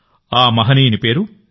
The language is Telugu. ఆ మహనీయుని పేరు ఎన్